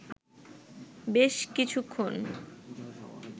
বেশ কিছুক্ষণ